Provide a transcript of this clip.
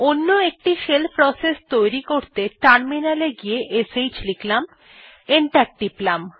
অন্য একটি shell process সৃষ্টি করতে টার্মিনালে গিয়ে শ্ লিখলাম এবং এন্টার টিপলাম